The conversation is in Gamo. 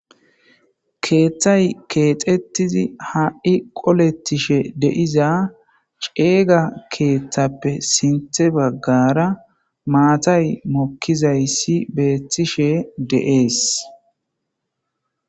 Keeththay keexettizi ha7i qolettishe deiza ceeyga keeththappe sinthe baggara maatay mokkizayssi beethtishe deees.